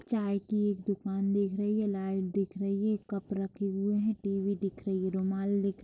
चाय की एक दुकान दिख रही है लाइट दिख रही है कप रखी हुए है टी_वी दिख रही है रुमाल दिख--